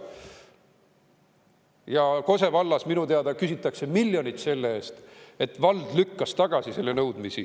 Ja Kose vallas minu teada küsitakse miljonit selle eest, et vald lükkas tagasi nõudmisi.